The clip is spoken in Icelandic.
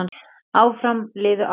Áfram liðu árin.